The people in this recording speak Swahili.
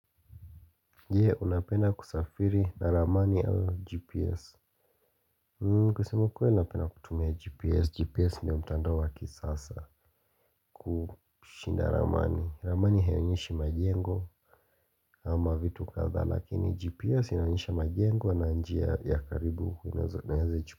Je unapenda kusafiri na ramani au gps kusema ukweli napenda kutumia gps, gps ni ya mtandaa wa kisasa kushinda ramani, ramani haionyeshi majengo ama vitu kadhaa lakini gps inaonyesha majengo na njia ya karibu.